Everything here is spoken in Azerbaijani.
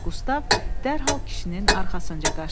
Qustav dərhal kişinin arxasınca qaçdı.